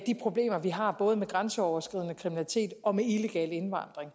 de problemer vi har både med grænseoverskridende kriminalitet og med illegal indvandring